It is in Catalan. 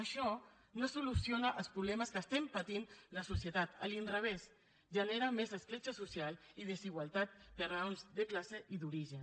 això no soluciona els problemes que estem patint la societat a l’inrevés genera més escletxa social i desigualtats per raons de classe i d’origen